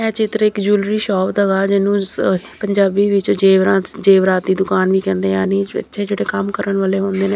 ਇਹ ਚਿੱਤਰ ਇੱਕ ਜਵੈਲਰੀ ਸ਼ੋਪ ਦਾ ਹੈ ਇਹਨੂੰ ਪੰਜਾਬੀ ਵਿੱਚ ਜੇਵਰਾਤ ਜੇਵਰਾਤ ਦੀ ਦੁਕਾਨ ਕਹਿੰਦੇ ਨੇ ਯਾਨੀ ਜਿਹੜੇ ਇੱਥੇ ਕੰਮ ਕਰਨ ਵਾਲੇ ਹੁੰਦੇ ਨੇ --